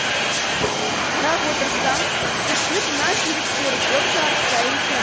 қарап отырсам тіршілік мынажүйріктері көп жарыстай екен